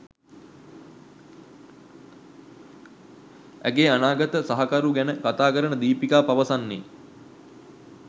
ඇගේ අනාගත සහකරු ගැන කතා කරන දීපිකා පවසන්නේ